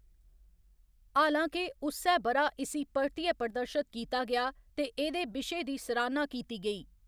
हालां के, उस्सै ब'रा इस्सी परतियै प्रदर्शत कीता गेआ ते एह्‌‌‌दे बिशे दी सराह्‌‌ना कीती गेई।